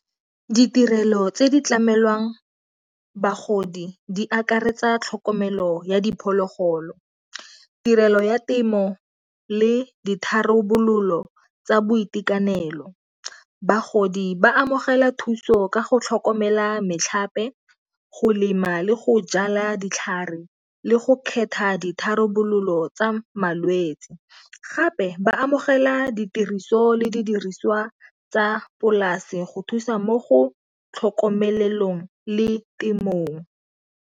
Ditirelo tse di tlamelwang bagodi di akaretsa tlhokomelo ya diphologolo. Tirelo ya temo le ditharabololo tsa boitekanelo. Bagodi ba amogela thuso ka go tlhokomela metlhape go lema le go jala ditlhare, le go kgetha ditharabololo tsa malwetsi. Gape ba amogela ditiriso le didiriswa tsa polase go thusa mo go tlhokomelelong le temothuo.